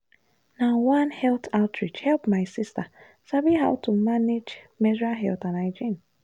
na one health outreach help my sister sabi how to manage menstrual health and hygiene.